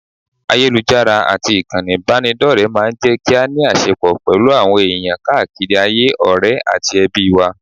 Ayélujára àti ìkànnì ìbánidọ́rẹ̀ẹ́ máa ń jẹ́ kí a ní àṣẹpọ̀ pẹ̀lú àwọn èèyàn káàkiri ayé, ọ̀rẹ́ àti ẹbí wa